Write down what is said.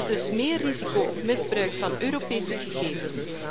Er is dus meer risico op misbruik van Europese gegevens.